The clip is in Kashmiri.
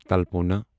تلپونا